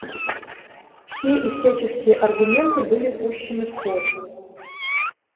все и всяческие аргументы были пущены в ход